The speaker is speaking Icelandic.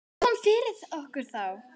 Hvað kom yfir okkur þá?